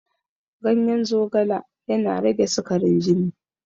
Ganyen zogala yana rage sikarin jini.